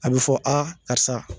A bɛ fɔ karisa